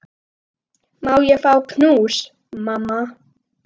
Má ég fá knús, mamma?